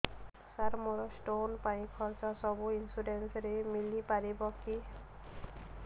ସାର ମୋର ସ୍ଟୋନ ପାଇଁ ଖର୍ଚ୍ଚ ସବୁ ଇନ୍ସୁରେନ୍ସ ରେ ମିଳି ପାରିବ କି